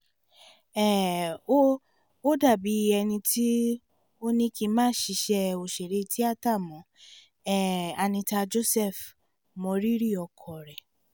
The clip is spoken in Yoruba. um o ò dàbí ẹni tó ní kí n má ṣiṣẹ́ òṣèré tíátà mọ́ um anita joseph mọrírì ọkọ rẹ̀